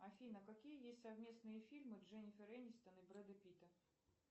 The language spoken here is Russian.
афина какие есть совместные фильмы дженнифер энистон и брэда питта